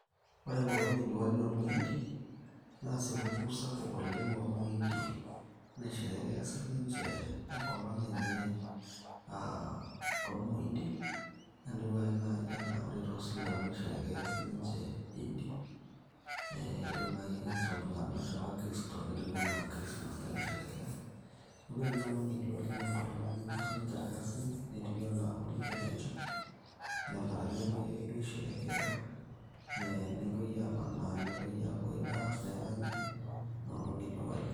ore enkolong e diwali oormointi naa supukuu sapuk oleng ormointi naisherekea sininche enkolong enye aa ormointi etiu ake naaji anaa ore toosilamu nisherekea sininche Iddi, ore naaji ake tooltung'anak te wakristo netiu anaa christmas tenisherekea neeku ore enoolng e diwali naa enkolong nemepuo siniche irkasin netiu anaa holiday tenche neebara nepuoi ake duo aisherekea ee nepuoi amanaa nepuoi aapuoi ai dance neranyi inoolong e diwali.